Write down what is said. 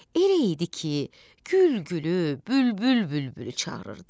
Elə idi ki, gül gülü, bülbül bülbülü çağırırdı.